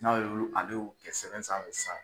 N'a ye ulu ale y'u kɛ sɛbɛn sanfɛ sisan.